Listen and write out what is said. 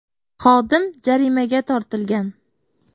Xodim jarimaga tortilgan .